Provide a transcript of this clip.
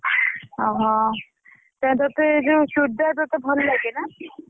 ଓହୋ! ତତେ ଯୋଉ ଚୁଡିଦାର ତତେ ଭଲ ଲାଗେ ନା?